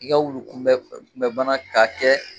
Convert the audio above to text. I ka wulukunbɛ kunbana k'a kɛ.